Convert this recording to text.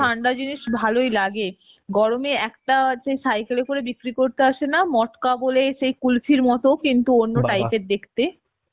ঠান্ডা জিনিস ভালই লাগে গরমে একটা হচ্ছে cycle এ করে বিক্রি করতে আসে না মটকা বলে সেই কুলফির মত কিন্তু অন্য type এর দেখতে